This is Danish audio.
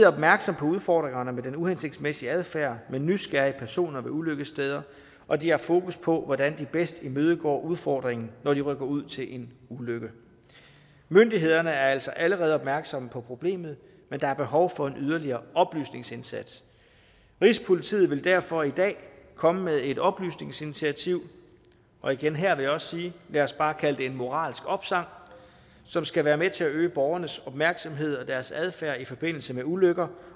opmærksom på udfordringerne med den uhensigtsmæssige adfærd og med nysgerrige personer ved ulykkessteder og de har fokus på hvordan de bedst imødegår udfordringen når de rykker ud til en ulykke myndighederne er altså allerede opmærksomme på problemet men der er behov for en yderligere oplysningsindsats rigspolitiet vil derfor i dag komme med et oplysningsinitiativ og igen her vil jeg også sige lad os bare kalde det en moralsk opsang som skal være med til at øge borgernes opmærksomhed på deres adfærd i forbindelse med ulykker